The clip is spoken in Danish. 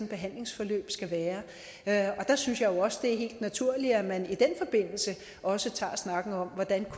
behandlingsforløb skal være der synes jeg jo også det er helt naturligt at man i den forbindelse også tager snakken om hvordan